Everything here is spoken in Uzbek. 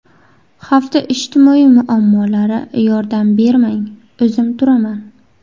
Hafta ijtimoiy muammolari: Yordam bermang, o‘zim turaman.